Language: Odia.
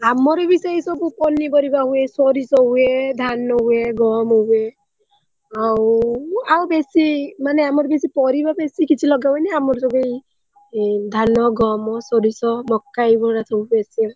Speaker1 : ଆମର ବି ସେଇସବୁ ପନିପରିବା ହୁଏ ସୋରିଷ ହୁଏ ଧାନ ହୁଏ ଗହମ ହୁଏ ଆଉ ଆଉ ବେଶୀ ମାନେ ଆମର ବେଶୀ ପରିବା ବେଶୀ କିଛି ଲଗାହୁଏନି ଆମର ସବୁ ଧାନ ଗହମ ସୋରିଷ ମକା ଏଇଗରା ସବୁ ବେଶୀ।